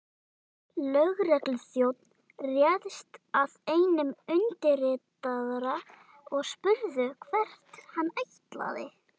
Lögregluþjónn réðst að einum undirritaðra og spurði hvert hann ætlaði.